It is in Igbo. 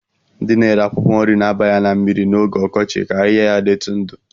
Ndị na-ere akwụkwọ nri na-aba ya na mmiri n'oge ọkọchị ka ahịhịa ya dịtụ ndụ